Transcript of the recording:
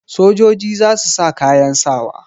Sojoji za su sa kayan sawa.